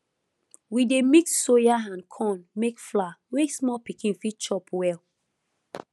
we dey mix soya and corn make flour wey small pikin fit chop well